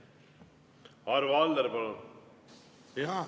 Arvo Aller, palun!